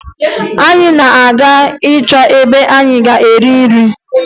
Anyị na-aga ịchọ ebe anyị ga-eri nri